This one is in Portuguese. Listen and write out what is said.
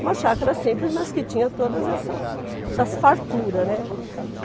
Uma chácara simples, mas que tinha todas essas essas farturas, né?